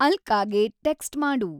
ಅಲ್ಕಾಗೆ text ಮಾಡು